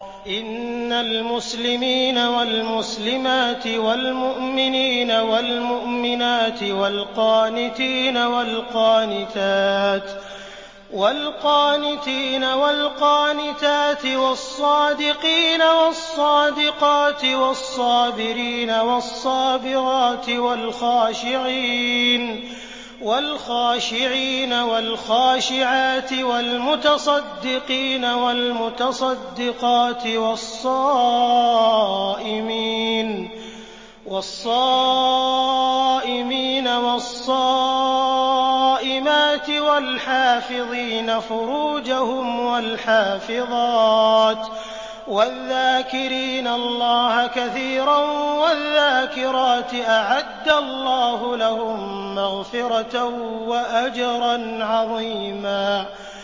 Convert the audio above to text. إِنَّ الْمُسْلِمِينَ وَالْمُسْلِمَاتِ وَالْمُؤْمِنِينَ وَالْمُؤْمِنَاتِ وَالْقَانِتِينَ وَالْقَانِتَاتِ وَالصَّادِقِينَ وَالصَّادِقَاتِ وَالصَّابِرِينَ وَالصَّابِرَاتِ وَالْخَاشِعِينَ وَالْخَاشِعَاتِ وَالْمُتَصَدِّقِينَ وَالْمُتَصَدِّقَاتِ وَالصَّائِمِينَ وَالصَّائِمَاتِ وَالْحَافِظِينَ فُرُوجَهُمْ وَالْحَافِظَاتِ وَالذَّاكِرِينَ اللَّهَ كَثِيرًا وَالذَّاكِرَاتِ أَعَدَّ اللَّهُ لَهُم مَّغْفِرَةً وَأَجْرًا عَظِيمًا